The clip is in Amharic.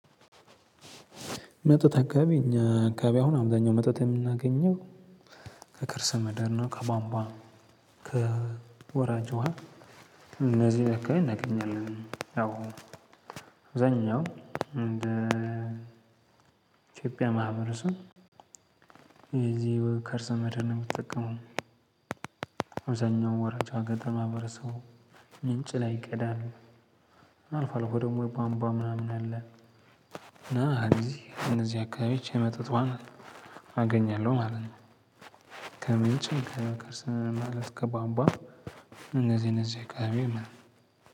መጠጥ አካባቢ እኛ አካባቢ አሁን መጠጥ የምናገኘው ከከርሰ ምድር እና ከቧንቧ ከወራጅ ውሃ እነዚህን አካባቢ እናገኛለን። ያው አብዛኛው እንዴ ኢትዮጵያ ማህበረሰብ ከርሰምድር ነው የሚጠቀመው። አብዛኛው ወራጅ ገጠማ ማህበረሰቡ ምንጭ ላይ ይቀዳል። እና አልፎ አልፎ ደሞ የቧንቧ ምናምን አለ። እና እንደዚህ እነዚህ አካባቢዎች የመጠጥ ውሃ አገኛለሁ ማለት ነው። ከምንጭም ከከርሰ ማለት ከቧንቧ እንዚህ እነዚህ አካባቢ የለም